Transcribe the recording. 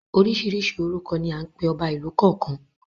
Oríṣiríṣi orúkọ ni à ń pe ọba ìlú kọ̀ọ̀kan.